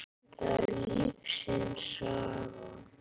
Það er lífsins saga.